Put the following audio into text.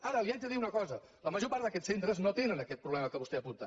ara li haig de dir una cosa la major part d’aquests centres no tenen aquest problema que vostè apunta